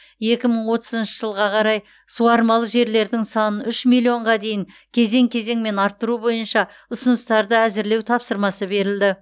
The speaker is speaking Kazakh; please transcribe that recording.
екі мың отызыншы жылға қарай суармалы жерлердің санын үш миллионға дейін кезең кезеңмен арттыру бойынша ұсыныстарды әзірлеу тапсырмасы берілді